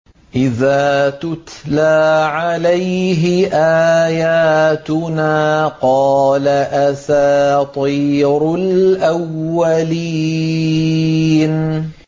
إِذَا تُتْلَىٰ عَلَيْهِ آيَاتُنَا قَالَ أَسَاطِيرُ الْأَوَّلِينَ